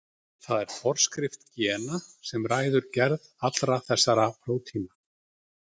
Það er forskrift gena sem ræður gerð allra þessara prótína.